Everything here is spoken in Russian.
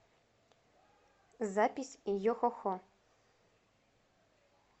запись йо хо хо